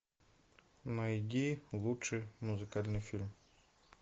найди лучший музыкальный фильм